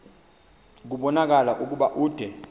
kubonakala ukuba ude